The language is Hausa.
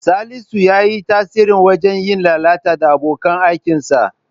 Salisu ya yi tasiri wajen yin lalata da abokan aikinsa.